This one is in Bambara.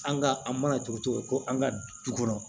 An ka an mana tugu tugu ko an ka du kɔnɔ